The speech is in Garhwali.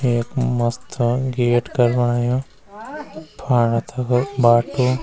एक मस्था गेट कर्वायुं फाणा तखा बाटू।